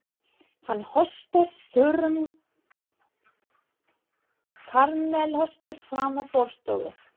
Hann hóstar þurrum kamelhósta frammí forstofu.